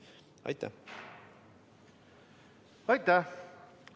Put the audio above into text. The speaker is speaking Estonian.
Aitäh!